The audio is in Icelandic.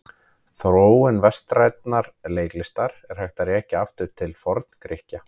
Þróun vestrænnar leiklistar er hægt að rekja aftur til Forngrikkja.